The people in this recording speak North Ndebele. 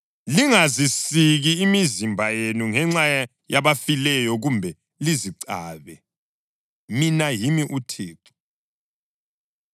Lingazisiki imizimba yenu ngenxa yabafileyo kumbe lizicabe. Mina yimi uThixo.